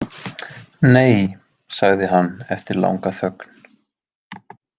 Nei, sagði hann eftir langa þögn.